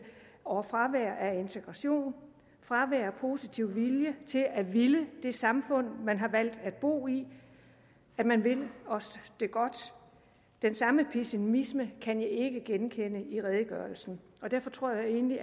over fravær af integration fravær af positiv vilje til at ville det samfund man har valgt at bo i at man vil os det godt den samme pessimisme kan jeg ikke genkende i redegørelsen og derfor tror jeg egentlig